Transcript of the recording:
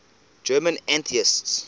german atheists